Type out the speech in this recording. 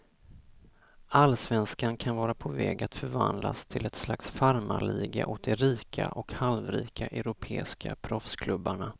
Allsvenskan kan vara på väg att förvandlas till ett slags farmarliga åt de rika och halvrika europeiska proffsklubbarna.